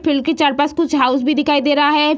Field के चारपास कुछ हाउस भी दिखाई दे रहा है।